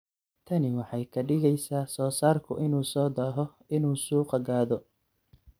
Tani waxay ka dhigaysaa soo-saarku inuu soo daaho inuu suuqa gaadho.